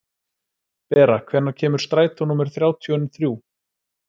Bera, hvenær kemur strætó númer þrjátíu og þrjú?